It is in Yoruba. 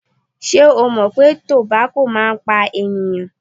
Ṣé o mọ̀ pé tobako máa ń pa ènìyàn?